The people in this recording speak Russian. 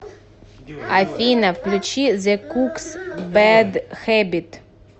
афина включи зе кукс бэд хэбит